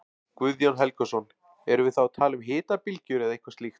Guðjón Helgason: Erum við þá að tala um hitabylgjur eða eitthvað slíkt?